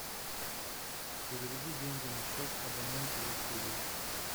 переведи деньги на счет абоненту василий